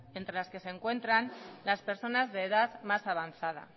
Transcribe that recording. entre las que se encuentran las personas de edad más avanzada